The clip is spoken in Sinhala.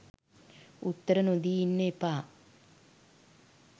උත්තර නොදී ඉන්න එපා.